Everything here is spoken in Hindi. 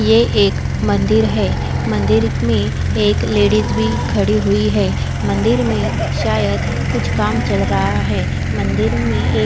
ये एक मंदिर है मंदिर में एक लेडीज भी खड़ी हुई है मंदिर में शायद कुछ काम चल रहा है मंदिर में ए--